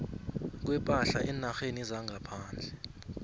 kwepahla eenarheni zangaphandle